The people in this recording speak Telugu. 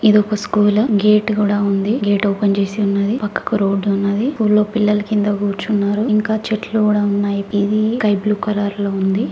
ఇది ఒక స్కూల్ గేట్ కూడా ఉంది గేట్ ఓపెన్ చేసి ఉన్నది పక్కకు రోడ్డు ఉన్నది స్కూల్ లో పిల్లలు కింద కూర్చున్నారు ఇంకా చెట్లు కూడా ఉన్నాయి ఇది స్కై బ్లూ కలర్ లో ఉంది.